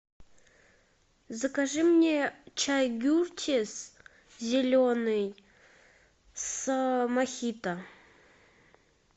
закажи мне чай гюртис зеленый с мохито